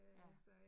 Ja